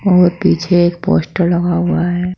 और पीछे एक पोस्टर लगा हुआ है।